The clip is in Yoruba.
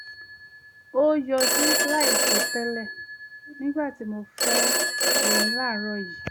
o yọjú láìsọtẹ́lẹ̀ nígbà tí mò ń fọ eyín láàárọ̀ yìí